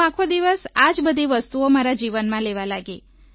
હું આખો દિવસ આ જ બધી વસ્તુઓ મારા જીવનમાં લેવા લાગી